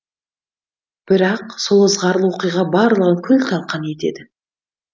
бірақ сол ызғарлы оқиға барлығын күл талқан етеді